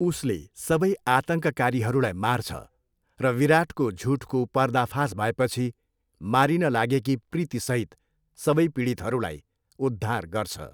उसले सबै आतङ्ककारीहरूलाई मार्छ र विराटको झुठको पर्दाफास भएपछि मारिन लागेकी प्रीतिसहित सबै पीडितहरूलाई उद्धार गर्छ।